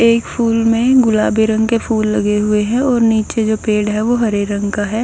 एक फूल मे गुलाबी रंग के फूल लगे हुए है और नीचे जो पेड़ है वो हरे रंग का है।